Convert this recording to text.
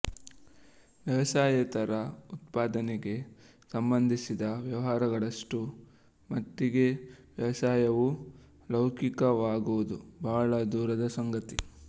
ವ್ಯವಸಾಯೇತರ ಉತ್ಪಾದನೆಗೆ ಸಂಬಂಧಿಸಿದ ವ್ಯವಹಾರಗಳಷ್ಟು ಮಟ್ಟಿಗೆ ವ್ಯವಸಾಯವೂ ಲೌಕಿಕವಾಗುವುದು ಬಹಳ ದೂರದ ಸಂಗತಿ